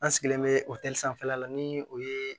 An sigilen bɛ o sanfɛla la ni o ye